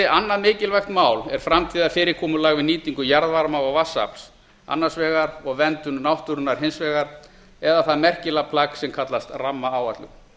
annað mikilvægt mál er framtíðarfyrirkomulag við nýtingu jarðvarma og vatnsafls annars vegar og verndun náttúrunnar hins vegar eða það merkilega plagg sem kallast rammaáætlun